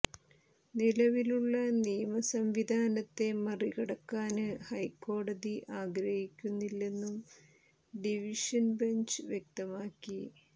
നിലവിലുള്ള നിയമ സംവിധാനത്തെ മറികടക്കാന് ഹൈക്കോടതി ആഗ്രഹിക്കുന്നില്ലെന്നും ഡിവിഷന് ബഞ്ച് വ്യക്തമാക്കി